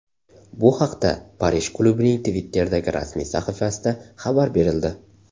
Bu haqda Parij klubining Twitter’dagi rasmiy sahifasida xabar berildi .